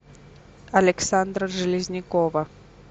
александра железнякова